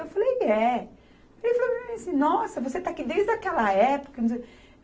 Eu falei, é. Aí ele falou para mim assim, nossa, você está aqui desde aquela época?